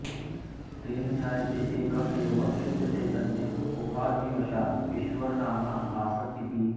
तेन ज्ञायते एक एव शुद्धचैतन्यम् उपाधिवशात् ईश्वरनाम्ना भासत इति